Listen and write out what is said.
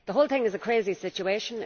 The whole thing is a crazy situation.